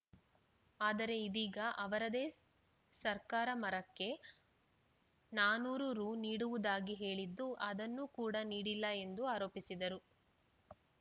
ಆದರೆ ಇದೀಗ ಅವರದೇ ಸರ್ಕಾರ ಮರಕ್ಕೆ ನಾನೂರು ರು ನೀಡುವುದಾಗಿ ಹೇಳಿದ್ದು ಅದನ್ನೂ ಕೂಡ ನೀಡಿಲ್ಲ ಎಂದು ಆರೋಪಿಸಿದರು